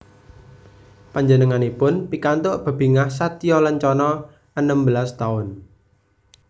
Panjenenganipun pikantuk bebingah Satya Lencana enem belas taun